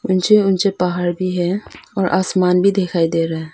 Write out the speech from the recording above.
ऊंचे ऊंचे पहाड़ भी है और आसमान भी दिखाई दे रहा है।